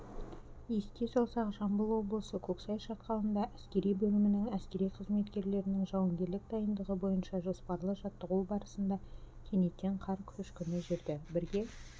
еске салсақ жамбыл облысы көксай шатқалында әскери бөлімінің әскери қызметкерлерінің жауынгерлік дайындығы бойынша жоспарлы жаттығуы барысында кенеттен қар көшкіні жүрді бірге